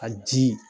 A ji